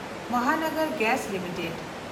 Mohanagar gas limited